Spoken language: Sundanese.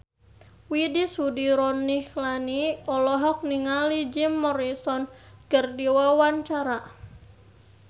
Widy Soediro Nichlany olohok ningali Jim Morrison keur diwawancara